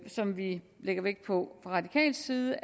som vi lægger vægt på fra radikal side